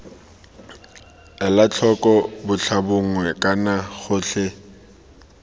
ela tlhoko botlhabongwe kana gotlhe